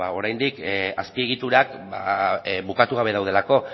oraindik azpiegiturak bukatu gabe daudelako